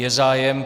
Je zájem.